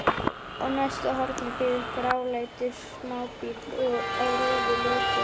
Á næsta horni bíður gráleitur smábíll á rauðu ljósi.